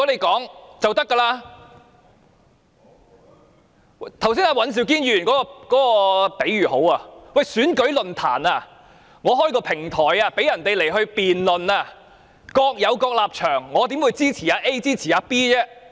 剛才尹兆堅議員的比喻很好，某人主持選舉論壇，提供平台供人辯論，參與者各有各立場，主持人怎會支持某一參與者？